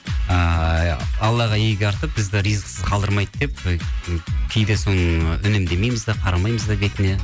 ыыы аллаға игі артып бізді ризықсыз қалдырмайды деп кейде соны үнемдемейміз де қарамаймыз да бетіне